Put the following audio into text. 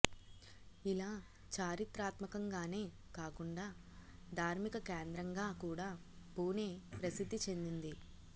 ఇలా చారిత్రాత్మకంగానే కాకుండా ధార్మిక కేంద్రంగా కూడా పూనే ప్రసిద్ధి చెందింది